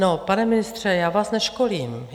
No, pane ministře, já vás neškolím.